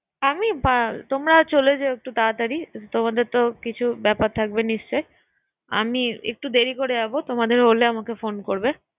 আমি তোমরা চলে যেও একটু তাড়াতাড়ি, তোমাদের তো কিছু ব্যাপার থাকবে নিশ্চয় আমি একটু দেড়ি করে যাবো তোমাদের হলে আমাকে ফোন করবে